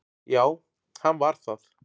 Já, hann var það